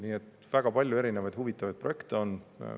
Nii et väga palju erinevaid huvitavaid projekte on.